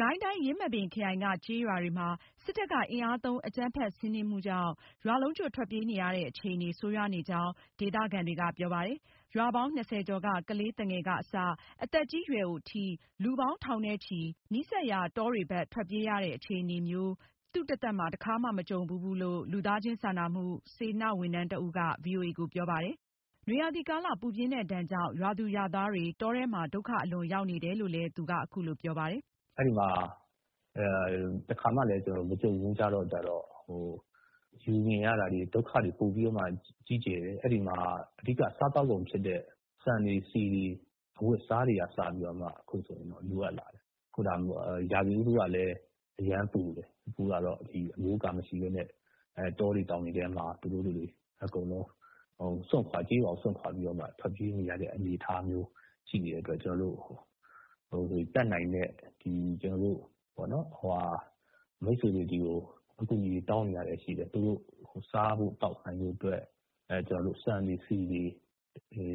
ကိုင်းတိုင်း ယင်းမာပင်ခရိုင်က ကျေးရွာတွေမှာ စစ်တပ်ကအင်အားသုံး အကြမ်းဖက်စီနင်းမှုကြောင့် ရွာလုံးကျွတ်ထွက်ပြေးနေရတဲ့ အခြေအနေ ဆိုးရွားနေကြောင်း ဒေသခံတွေက ပြောပါတယ်။ ရွာပေါင်း ၂၀ ကျော်က ကလေးသူငယ်ကအစ အသက်ကြီးရွယ်အိုထိ လူပေါင်း ထောင်နဲ့ချီပြီး နီးစပ်ရာ တောတွေဘက်ထွက်ပြေးကြတဲ့ အခြေအနေမျိုး သူတသက်တခါမှ မကြုံဘူးဘူးလို့ လူသားချင်းစာနာမှု စေတနာဝန်ထမ်းဒေသခံတဦးက ဗွီအိုအေကို ပြောပါတယ်။ နွေရာသီကာလ ပူပြင်းတဲ့ဒဏ်ကြောင့် ရွာသူရွာသားတွေ တောထဲမှာ ဒုက္ခအလွန်ရောက်နေတယ်လို့လည်း သူက အခုလိုပြောပါတယ်။ “ အဲဒီမှာ တခါမှလည်း မကြုံဘူးကြတော့ မြင်ရတာတွေ ဒုက္ခတွေပိုပြီးမှကြီးကျယ်တယ်။ အဲဒီမှာ အဓိကစားသောက်ကုန်ဖြစ်တဲ့ ဆန်တွေဆီတွေ ၊ အဝတ်အစားတွေကအစ အခုဆိုရင် ရာသီဥတုကလည်း အရမ်းပူတယ်။ အခုကတော့ အမိုးအကာမရှိပဲနဲ့ တောတွေတောင်တွေထဲမှာ သူတို့တွေ ကျေးရွာကို စွန့်ခွာပြီးတော့ ထွက်ပြေးနေရတဲ့ အနေအထားမျိုး ရှိနေတဲ့အတွက်ကြောင့် ကျနော်တို့ တတ်နိုင်တဲ့ ကျနော်တို့ မိတ်ဆွေတွေကို အကူအညီတောင်းနေရတာရှိတယ်။ သူတို့ စားဖို့ သောက်ဖို့ အတွက် ဆန်တွေဆီတွေ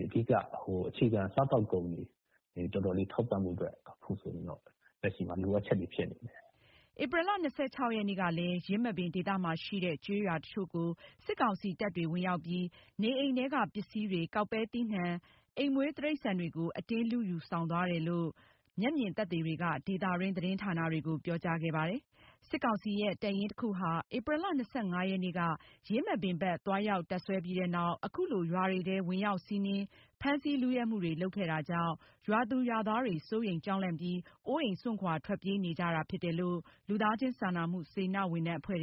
အခြေခံစားသောက်ကုန်တွေ ထောက်ဖို့အတွက် အခုဆိုရင်တော့ လက်ရှိမှာ လိုအပ်ချက်တွေဖြစ်နေတယ်။” ဧပြီလ ၂၆ ရက်နေ့ကလည်း ယင်းမာပင်ဒေသမှာရှိတဲ့ ကျေးရွာတချို့ကိုစစ်ကောင်စီ တပ်တွေဝင်ရောက်ပြီး နေအိမ်ထဲက ပစ္စည်းတွေ၊ ကောက်ပဲသီးနှံတွေ၊ အိမ်မွေးတိရိစ္ဆာန်တွေကို အတင်းလုယူဆောင်သွားတယ်လို့ မျက်မြင်သက်သေတွေက ဒေသတွင်း သတင်းဌာနတွေကို ပြောကြားခဲ့ပါတယ်။ စစ်ကောင်စီရဲ့ တပ်ရင်းတခုဟာ ဧပြီလ ၂၅ ရက်နေ့က ယင်းမာပင်ဘက်သွားရောက်တပ်စွဲပြီးနောက် အခုလို ရွာတွေထဲ ဝင်ရောက်စီးနင်း ဖမ်းဆီး လုယက်မှုတွေ လုပ်ခဲ့တာကြောင့် ရွာသူရွာသားတွေ စိုးရိမ်ကြောက်လန့်ပြီး အိုးအိမ်စွန့်ခွာ ထွက်ပြေးနေကြတာဖြစ်တယ်လို့ လူသားချင်းစာနာမှုစေတနာ့ဝန်ထမ်းအဖွဲ့တွေ